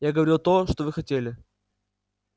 я говорил то что вы хотели